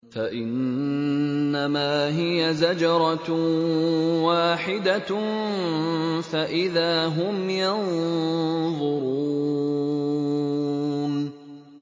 فَإِنَّمَا هِيَ زَجْرَةٌ وَاحِدَةٌ فَإِذَا هُمْ يَنظُرُونَ